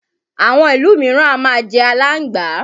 Àwọn ìlú míràn á máa jẹ alángbà.